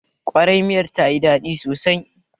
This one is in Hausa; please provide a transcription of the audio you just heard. Ƙwarai, miyar ta yi daɗi sosai